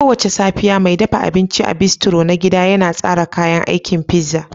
Kowace safiya, mai dafa abinci a bistro na gida yana tsara kayan aikin pizza